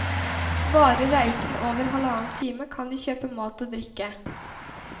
Varer reisen over halvannen time, kan de kjøpe mat og drikke.